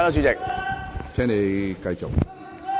請你繼續。